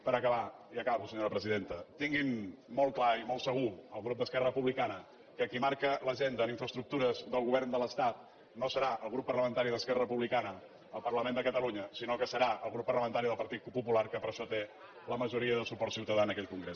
per acabar i acabo senyora presidenta tinguin molt clar i molt segur el grup d’esquerra republicana que qui marca l’agenda en infraestructures del govern de l’estat no serà el grup parlamentari d’esquerra republicana al parlament de catalunya sinó que serà el grup parlamentari del partit popular que per això té la majoria de suport ciutadà en aquell congrés